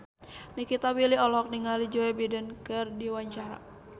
Nikita Willy olohok ningali Joe Biden keur diwawancara